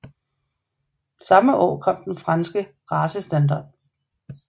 Samme år kom den franske racestandard